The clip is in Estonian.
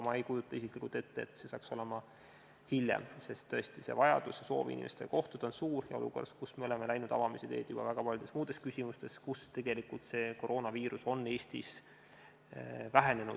Ma ei kujuta aga isiklikult ette, et see saaks olla veel hiljem, sest tõesti vajadus ja soov inimestega kohtuda on suur, olukorras, kus me oleme läinud avamise teed juba väga paljudes muudes küsimustes, sest tegelikult on koroonaviirus Eestis vähenenud.